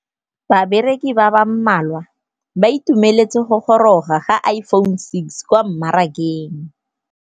Bareki ba ba malwa ba ituemeletse go gôrôga ga Iphone6 kwa mmarakeng.